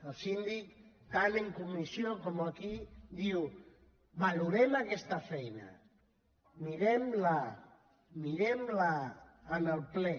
el síndic tant en comissió com aquí diu valorem aquesta feina mirem la mirem la en el ple